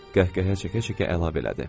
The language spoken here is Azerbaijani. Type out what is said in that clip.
Qəhqəhə çəkə-çəkə əlavə elədi.